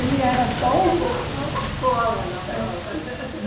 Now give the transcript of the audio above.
Ele era tão. arrumou uma cola na prova.